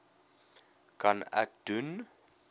kan ek doen